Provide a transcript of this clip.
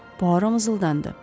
Puaro mızıldandı.